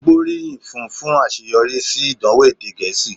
Ó gbóríyìn fún un fún àṣeyọrí sí ìdánwò èdè Gẹ̀ẹ́sì